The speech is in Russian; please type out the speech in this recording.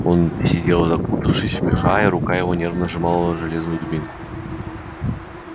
он сидел закутавшись в меха и рука его нервно сжимала железную дубинку